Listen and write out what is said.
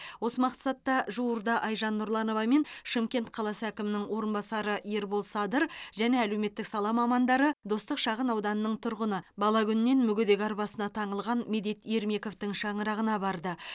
осы мақсатта жуырда айжан нұрланова мен шымкент қаласы әкімінің орынбасары ербол садыр және әлеуметтік сала мамандары достық шағынауданының тұрғыны бала күнінен мүгедек арбасына таңылған медет ермековтің шаңырағына барды